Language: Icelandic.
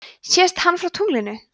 sést hann frá tunglinu